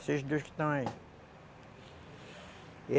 Esses dois que estão aí.